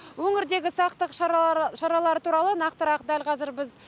өңірдегі сақтық шаралары туралы нақтырақ дәл қазір біз